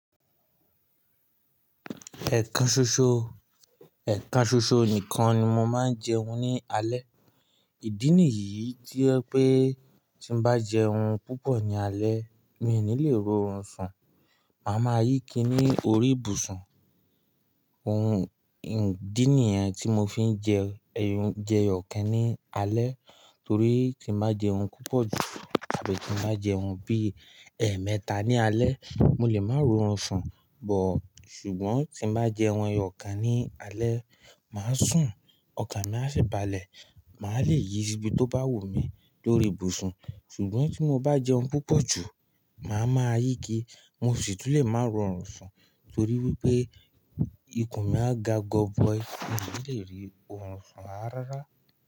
Ẹ̀kan ṣoṣo, ẹ̀kan ṣoṣo nìkan ni mo máa ń jẹun ní alẹ́. Ìdí nìyí tí oje pé tí bá jẹun púpọ̀ ní alẹ́ mi ò ní le ri orun sùn, màá máa yí ki ní orí ìbùsùn. Ohun ìdí nìyẹn tí mo fi ń jẹ ẹyọ̀kan ní alẹ́ torí tí n bá jẹun púpọ̀ jù àbí tí n bá jẹun bí ẹẹmẹta ní alẹ́, mo lè máa ro orun sùn but. Ṣùgbọ́n tí bá jẹun ẹyọ̀kan ní alẹ́, màá sùn ọkan mi á sì balẹ̀, màá le yí sibí tó bá wù mí lórí ìbùsùn. Ṣùgbọ́n tí mo bá jẹun púpọ̀ jù, màá máa yí ki mo sì túlé máa ro orun sùn torí wípé ikùn mi á ga gọbọi, mi ò ní le rí orun sùn rárá.